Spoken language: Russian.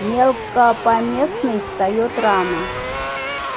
мелкопоместный встаёт рано